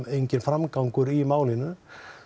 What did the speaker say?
enginn framgangur í málinu